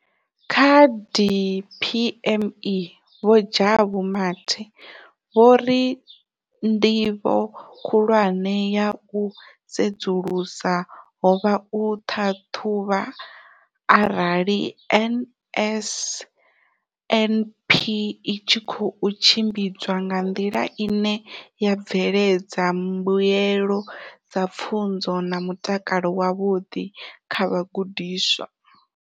Kha DPME, Vho Jabu Mathe, vho ri ndivho khulwane ya u sedzulusa ho vha u ṱhaṱhuvha arali NSNP i tshi khou tshimbidzwa nga nḓila ine ya bveledza mbuelo dza pfunzo na mutakalo wavhuḓi kha vhagudiswa.